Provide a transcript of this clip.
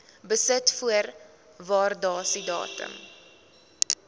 besit voor waardasiedatum